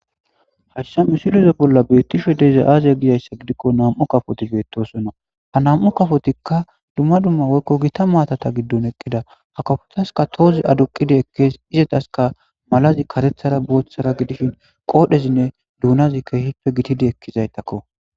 hashsha misileza bolla beettishe deeza aaziya gizayssa gidikko nam7u kafoti beettosonna ha nam7u kafotikka dumma dumma woykko gita maatata giddon eqqida ha kafotaska toozi adoqidi ekkees izetaska malazi katethara booththara gidishin qoodhezinne duunazike hippe gitidi ekkizaytakko